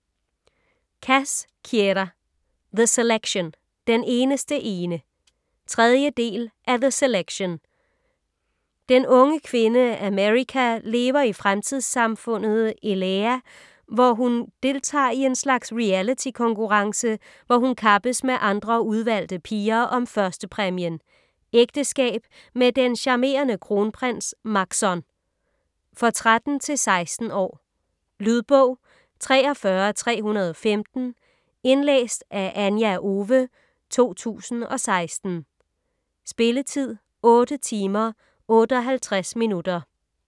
Cass, Kiera: The selection - den eneste ene 3. del af The selection. Den unge kvinde, America lever i fremtidssamfundet Illéa, hvor hun deltager i en slags reality-konkurrence, hvor hun kappes med andre udvalgte piger om 1.-præmien: Ægteskab med den charmerende kronprins Maxon. For 13-16 år. Lydbog 43315 Indlæst af Anja Owe, 2016. Spilletid: 8 timer, 58 minutter.